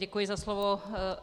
Děkuji za slovo.